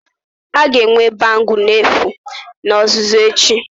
A ga-enwe bangle n'efu na ọzụzụ echi